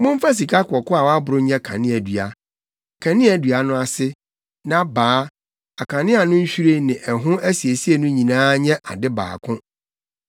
“Momfa sikakɔkɔɔ a wɔaboro nyɛ kaneadua. Kaneadua no ase, nʼabaa, akanea no nhwiren ne ɛho asiesie no nyinaa nyɛ ade baako.